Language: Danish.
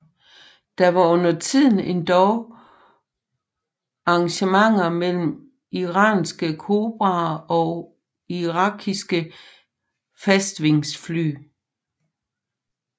Der var undertiden endog engagementer mellem iranske Cobraer og irakiske fastvingefly